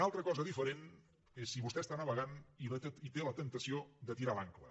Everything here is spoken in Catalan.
una altra cosa diferent és si vostè està navegant i té la temptació de tirar l’àncora